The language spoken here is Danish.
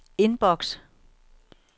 inbox